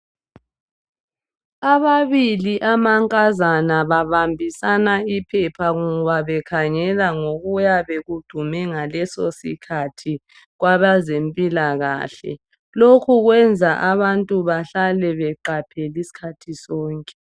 Ababili amankazana babambisana iphepha ngoba bekhangela ngokuyabe kudume ngaleso sikhathi kwabezempilakahle lokho kwenza abantu bahlale beqaphele isikhathi sonke.